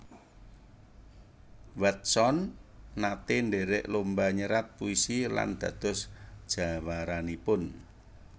Watson naté ndhèrèk lomba nyerat puisi lan dados jawaranipun